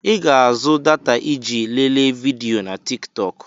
I ga-azụ data iji lelee vidiyo na Tik tọk.